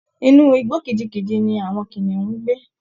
Inú igbó kìjikìji ni àwọn kìnìún ń gbé